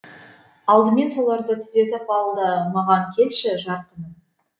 алдымен соларды түзетіп ал да маған келші жарқыным